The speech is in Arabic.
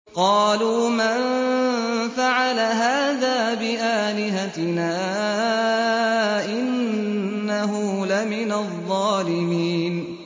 قَالُوا مَن فَعَلَ هَٰذَا بِآلِهَتِنَا إِنَّهُ لَمِنَ الظَّالِمِينَ